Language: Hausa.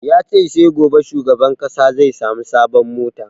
Ya ce sai gobe shugaban ƙasa zai sami sabon mota